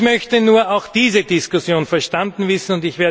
Ich möchte nur auch diese Diskussion verstanden wissen.